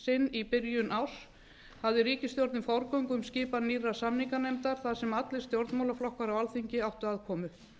í byrjun árs hafði ríkisstjórnin forgöngu um skipan nýrrar samninganefndar þar sem allir stjórnmálaflokkar á alþingi áttu aðkomu